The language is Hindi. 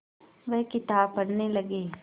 वह किताब पढ़ने लगे